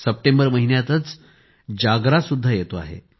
September महिन्यातच जागरा सुद्धा येतो आहे